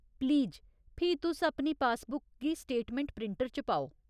Please फ्ही तुस अपनी पासबुक गी स्टेटमैंट प्रिंटर च पाओ।